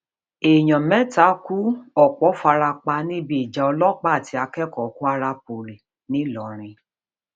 èèyàn mẹta kú ọpọ fara pa níbi ìjà ọlọpàá àti akẹkọọ kwara poli ńlọrọrin